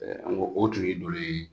Ɛɛ an go o tun ye dolo ye